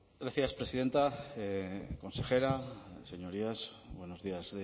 gracias presidenta consejera señorías buenos días